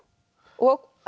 og